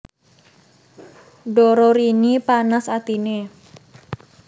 Dororini panas atiné